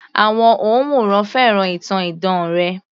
Àwọn òǹwòran fẹ́ràn ìtàn idán rẹ̀